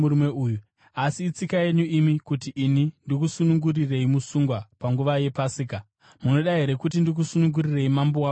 Asi itsika yenyu imi kuti ini ndikusunungurirei musungwa panguva yePasika. Munoda here kuti ndikusunungurirei mambo wavaJudha?”